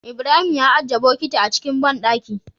Ibrahim ya ajiye bokiti a cikin banɗaki